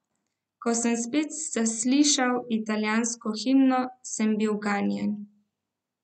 Ko sem spet zaslišal italijansko himno, sem bil ganjen.